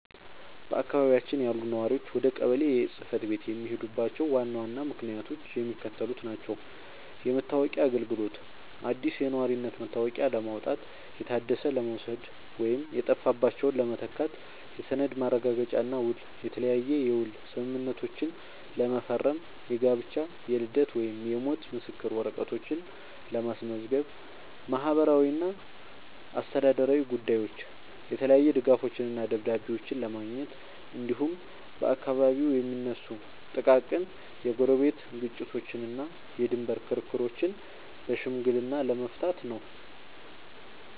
በአካባቢያችን ያሉ ነዋሪዎች ወደ ቀበሌ ጽሕፈት ቤት የሚሄዱባቸው ዋና ዋና ምክንያቶች የሚከተሉት ናቸው፦ የመታወቂያ አገልግሎት፦ አዲስ የነዋሪነት መታወቂያ ለማውጣት፣ የታደሰ ለመውሰድ ወይም የጠፋባቸውን ለመተካት። የሰነድ ማረጋገጫና ውል፦ የተለያየ የውል ስምምነቶችን ለመፈረም፣ የጋብቻ፣ የልደት ወይም የሞት ምስክር ወረቀቶችን ለማስመዝገብ። ማህበራዊና አስተዳደራዊ ጉዳዮች፦ የተለያዩ ድጋፎችንና ደብዳቤዎችን ለማግኘት፣ እንዲሁም በአካባቢው የሚነሱ ጥቃቅን የጎረቤት ግጭቶችንና የድንበር ክርክሮችን በሽምግልና ለመፍታት ነው።